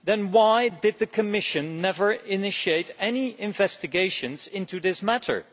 Why then did the Commission never initiate any investigations into this matter?